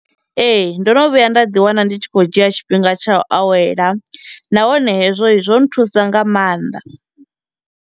Ee, ndono vhuya nda ḓi wana ndi tshi khou dzhia tshifhinga tsha u awela, nahone hezwo zwo nthusa nga maanḓa.